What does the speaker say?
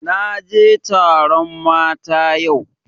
Na je taron mata yau